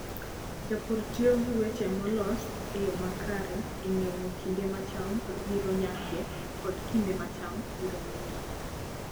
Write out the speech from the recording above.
Jopur tiyo gi weche molos e yo makare e ng'eyo kinde ma cham biro nyakie kod kinde ma cham biro nyakie.